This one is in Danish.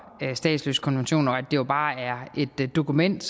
statsløsekonventionen og det jo bare er et dokument